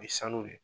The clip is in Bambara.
U ye sanu de